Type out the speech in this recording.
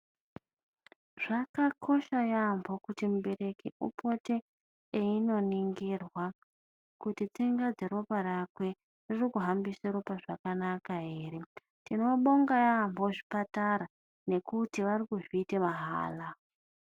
Zvakakosha yaambo kuti mubereki upote einoningirwa kuti tsinga dzeropa rakwe ririkuhambise ropa zvakanaka here. Tinobonga yaambo zvipatara, nekuti varikuzviite mahala.